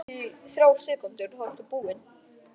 Magakrabbamein er á undanhaldi hjá þjóðinni.